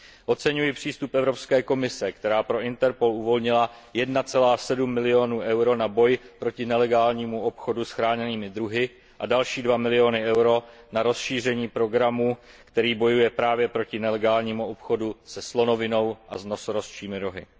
Oceňuji přístup Evropské komise, která pro Interpol uvolnila 1,7 milionu euro na boj proti nelegálnímu obchodu s chráněnými druhy a další 2 miliony eur na rozšíření programu, který bojuje právě proti nelegálnímu obchodu se slonovinou a s nosorožčími rohy.